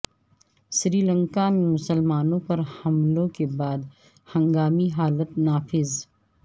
سری لنکا میں مسلمانوں پر حملوں کے بعد ہنگامی حالت نافذ